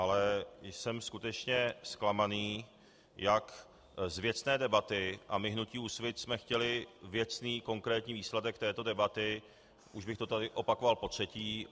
Ale jsem skutečně zklamaný jak z věcné debaty, a my hnutí Úsvit jsme chtěli věcný, konkrétní výsledek této debaty, už bych to tady opakoval potřetí.